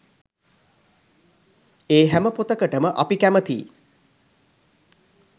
ඒ හැම පොතකටම අපි කැමැතියි